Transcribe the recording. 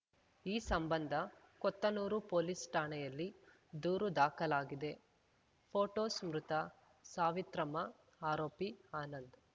ಈ ಸಂಬಂಧ ಕೊತ್ತನೂರು ಪೊಲೀಸ್‌ ಠಾಣೆಯಲ್ಲಿ ದೂರು ದಾಖಲಾಗಿದೆ ಫೋಟೋಸ್‌ ಮೃತ ಸಾವಿತ್ರಮ್ಮ ಆರೋಪಿ ಆನಂದ್‌